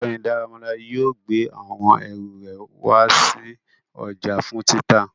Ọgbẹni Daramola yóò gbe awọn eru re wa si ọja fun tita